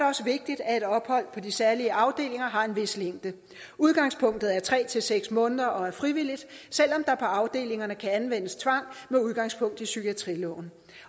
også vigtigt at et ophold på de særlige afdelinger har en vis længde udgangspunktet er tre til seks måneder og er frivilligt selv om der på afdelingerne kan anvendes tvang med udgangspunkt i psykiatriloven